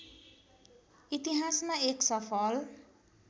इतिहासमा एक सफल